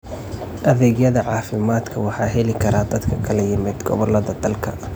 Adeegyada caafimaadka waxaa heli kara dad ka kala yimid gobolada dalka.